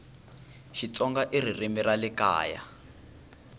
xitsonga ririmi ra le kaya